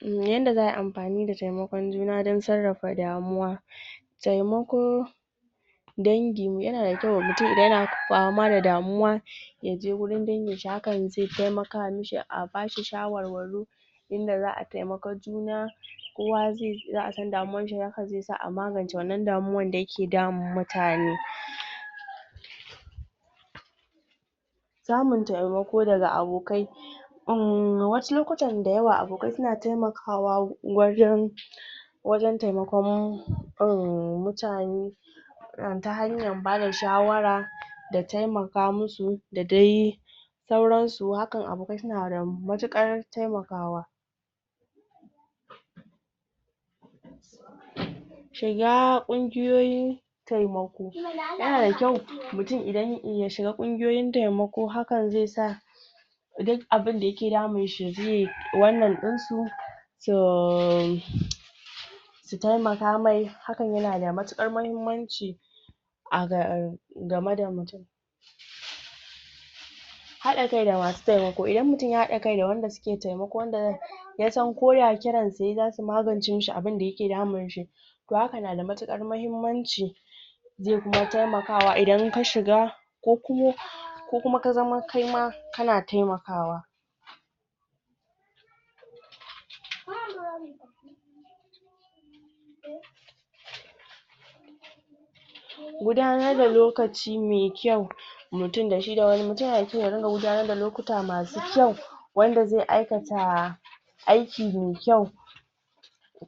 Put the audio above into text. yanda za'ayi amfani da taimakon juna don sarrafa damuwa taimako dangi yana da kyau ma mutum idan yana fama da damuwa yaje wurin dangin shi hakan zai taimaka mashi a bashi shawarwari inda za'a taimaka juna kowa zai iya abun damuwan shi zaka ji ka amma zaucinnan da yake damun mutane samun taimako daga abokai uhmm wasu lokuta da yawa abokai suna taimakawa wajen wajen taimakon uhmm mutane yawwa ta hanyar bada shawara da taimaka masu da dai da sauran su hakan abokai suna da matuƙar taimakawa shiga ƙubgiyoyi taimako yana da kyau miutum idan ya shiga ƙungiyoyin taimako hakan zai sa duk abunda yake damun shi yaje yayi wannan ɗinsu tohhh taimaka mai hakan yana da matuƙar mahimmanci ahh game da mutum haɗa kai da masu taimako idan mutum ya haɗa kai da wanda suke taimako yasan ko ya kiran su yayi zasu magance mashi abunda yake damun shi don haka na da matuƙar mahimmanci zai kuma taimakawa ida ka shiga da kuma ko kuma ka zama kaima kana taimakawa gudanar da lokaci me kyau mutum da shi da wani mutum yana da kyau ya dinga gudanar da lokuta masu kyau wanda zai aikata aiki me kyau